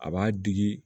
A b'a digi